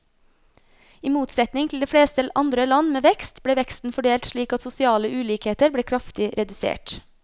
I motsetning til de fleste andre land med vekst, ble veksten fordelt slik at sosiale ulikheter ble kraftig redusert.